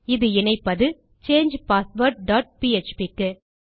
இது இணைப்பது சாங்கே பாஸ்வேர்ட் டாட் பிஎச்பி க்கு